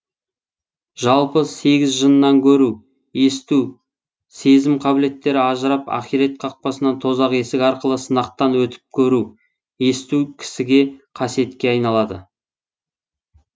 жалпы сегіз жыннан көру есту сезім қабілеттері ажырап ахирет қақпасынан тозақ есігі арқылы сынақтан өтіп көру есту кісіге қасиетке айналады